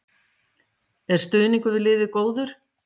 Er stuðningur við liðið góður?